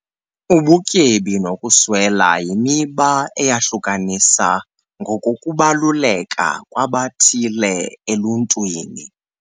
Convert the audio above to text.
Ubutyebi nokuswela yimiba eyahlukanisa ngokokubaluleka kwabathile eluntwini.